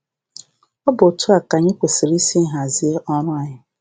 Ọ bụ etu a ka anyị kwesịrị isi hazie ọrụ anyị"